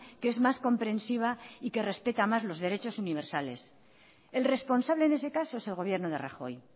que es más comprensiva y que respeta más los derechos universales el responsable en ese caso es el gobierno de rajoy